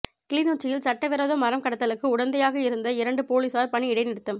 கிளிநொச்சியில் சட்டவிரேத மரம் கடத்தலுக்கு உடந்தையாக இருந்த இரண்டு பொலீஸரா் பணி இடைநிறுத்தம்